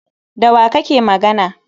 Da wa kake magana?